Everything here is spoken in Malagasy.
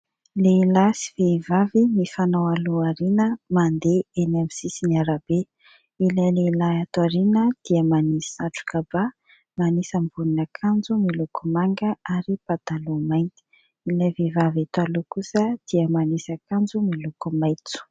Lehilahy sy vehivavy mifanao aloha-aoriana, mandeha amin'ny sisin'ny arabe. Ilay lehilahy ato aoriana dia manasy satroka ba, manisy ambonin'akanjo miloko manga, ary pataloha mainty. Ilay vehivavy eto aloha kosa dia manisy akanjo miloko maitso.